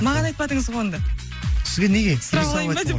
маған айтпадыңыз ғой онда сізге неге сұрап алайын ба деп